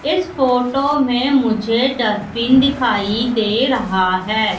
इस फोटो में मुझे डस्टबिन दिखाई दे रहा है।